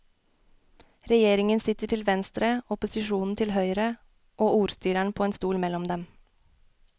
Regjeringen sitter til venstre, opposisjonen til høyre og ordstyreren på en stol mellom dem.